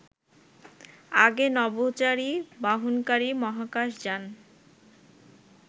আগে নভোচারী বহনকারী মহাকাশ যান